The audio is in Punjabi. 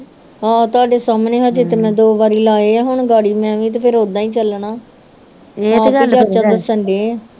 ਆਹ ਤੁਹਾਡੇ ਸਾਮਣੇ ਹਜੇ ਤੇ ਮੈ ਦੋ ਬਾਰੀ ਲਾਏ ਆ ਹੁਣ ਮੈਂ ਵੀ ਤੇ ਓਦਾਂ ਹੀ ਚੱਲਣਾ